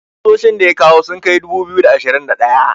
kusoshin da ya kawo sun Kai dubu biyu da ashirin da daya